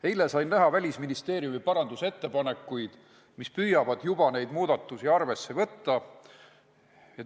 Eile ma sain näha Välisministeeriumi parandusettepanekuid, mis püüavad juba neid muudatusi arvesse võtta.